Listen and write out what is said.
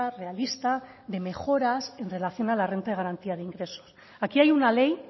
realista de mejoras en relación a la renta de garantía de ingresos aquí hay una ley